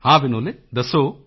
ਹਾਂ ਵਿਨੋਲੇ ਦੱਸੋ